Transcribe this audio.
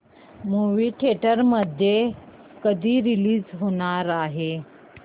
movie theatre मध्ये कधी release होणार आहे